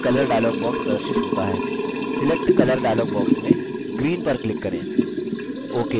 selectcolor dialog box में green पर click करें ok पर click करें